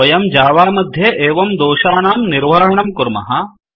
वयं जावा मध्ये एवं दोषानां निर्वहणं कुर्मः